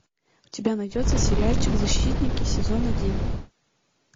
у тебя найдется сериальчик защитники сезон один